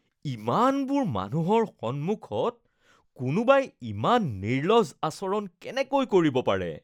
ইমানবোৰ মানুহৰ সন্মুখত কোনোবাই ইমান নিৰ্লজ্জ আচৰণ কেনেকৈ কৰিব পাৰে?